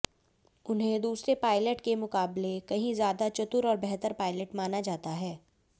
उन्हें दूसरे पायलट के मुकाबले कहीं ज्यादा चतुर और बेहतर पायलट माना जाता है